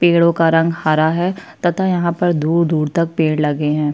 पेड़ों का रंग हरा है तथा यहाँ पर दूर दूर तक पेड़ लगे है।